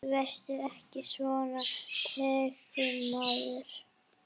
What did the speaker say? Hún gengst inn á lygina.